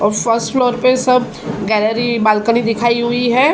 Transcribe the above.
और first floor पे सब गैलरी बालकनी दिखाई हुई है।